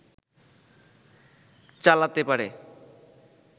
চালাতে পারে